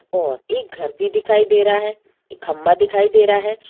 और एक घर भी दिखाई दे रहा है और खम्भा भी दिखाई दे रहा है |